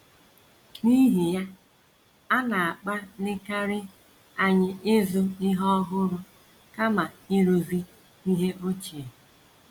N’ihi ya, a na -- akpalikarị anyị ịzụ ihe ọhụrụ kama ịrụzi ihe ochie.